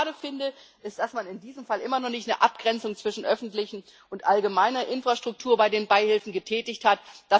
Was ich schade finde, ist, dass man in diesem Fall immer noch keine Abgrenzung zwischen öffentlicher und allgemeiner Infrastruktur bei den Beihilfen getätigt hat.